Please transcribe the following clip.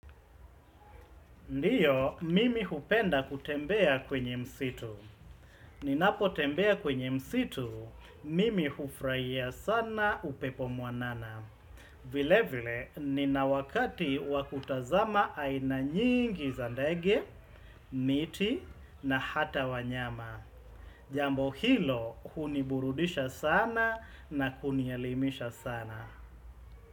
Ndiyo, mimi hupenda kutembea kwenye msitu. Ninapo tembea kwenye msitu, mimi hufuraia sana upepo mwanana. Vile vile, nina wakati wa kutazama aina nyingi za ndege, miti na hata wanyama. Jambo hilo, huniburudisha sana na kunielimisha sana.